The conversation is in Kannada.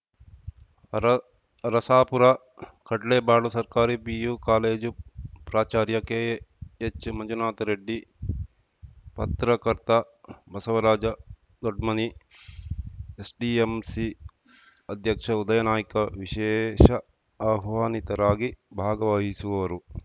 ಅರ ಅರಸಾಪುರಕಡ್ಲೇಬಾಳು ಸರ್ಕಾರಿ ಪಿಯು ಕಾಲೇಜು ಪ್ರಾಚಾರ್ಯ ಕೆಎಚ್‌ ಮಂಜುನಾಥ ರೆಡ್ಡಿ ಪತ್ರಕರ್ತ ಬಸವರಾಜ ದೊಡ್ಮನಿ ಎಸ್‌ಡಿಎಂಸಿ ಅಧ್ಯಕ್ಷ ಉದಯ ನಾಯ್ಕ ವಿಶೇಷ ಆಹ್ವಾನಿತರಾಗಿ ಭಾಗವಹಿಸುವರು